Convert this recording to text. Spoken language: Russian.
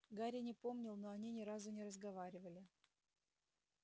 гарри не помнил но они ни разу не разговаривали